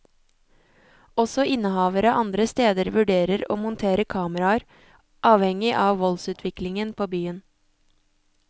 Også innehavere andre steder vurderer å montere kameraer, avhengig av voldsutviklingen på byen.